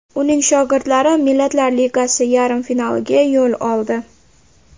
Uning shogirdlari Millatlar Ligasi yarim finaliga yo‘l oldi.